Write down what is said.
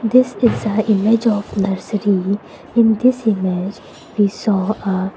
this is a image of nursery in this image we saw a --